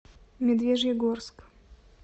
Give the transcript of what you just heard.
медвежьегорск